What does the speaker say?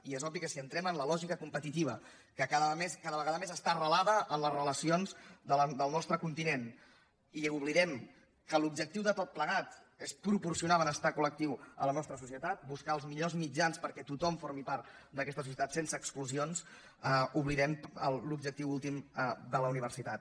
i és obvi que si entrem en la lògica competitiva que cada vegada més està arrelada en les relacions del nostre continent i oblidem que l’objectiu de tot plegat és proporcionar benestar col·societat buscar els millors mitjans perquè tothom formi part d’aquesta societat sense exclusions oblidem l’objectiu últim de la universitat